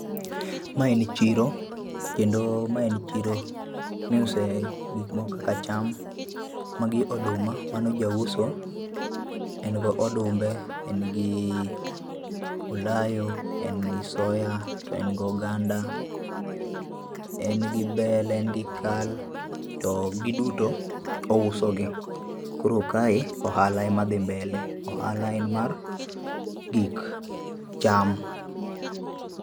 Ma en chiro kendo ma en chiro mi iuse gik moko kaka cham gi oduma. Mano ja uso, en gi odumbe, en gi olayo, en gi soya ,en gi oganda ,en gi bel ,en gi kal to gi duto ouso gi .Koro kae ohala ema dhi mbele ,ohala en mar gik cham